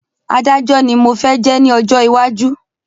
Adájọ́ ni mo fẹ́ jẹ́ ní ọjọ́ iwájú